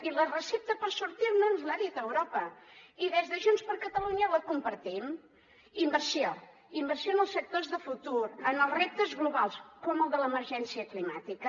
i la recepta per sortir ne ens l’ha dit europa i des de junts per catalunya la compartim inversió inversió en els sectors de futur en els reptes globals com el de l’emergència climàtica